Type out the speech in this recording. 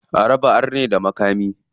A raba arne da makami.